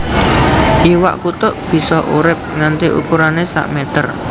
Iwak kutuk bisa urip nganti ukurané sak meter